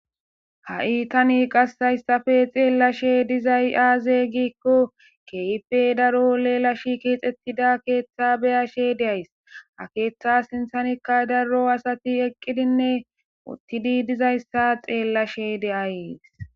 Ha'i tani qase haysape xelashe dizay aze giko kehipe daro lela shiqetida kexetida ketha be'ashe days ha ketha sinthanka daro asati eqidinne utidi dizaysa xelashe de'ays.